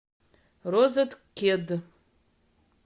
розеткед